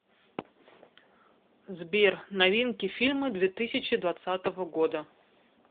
сбер новинки фильмы две тысячи двадцатого года